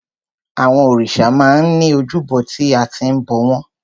Àwọn òrìṣà máa ń ní ojúbọ tí a ti ń bọ̀ wọ́n.